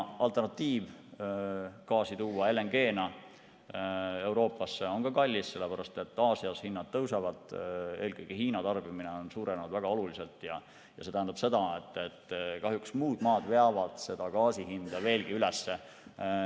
Alternatiiv, tuua gaasi LNG‑na Euroopasse, on ka kallis, sest Aasias hinnad tõusevad, eelkõige Hiina tarbimine on suurenenud väga oluliselt, ja see tähendab seda, et kahjuks muud maad veavad gaasi hinda veelgi üles.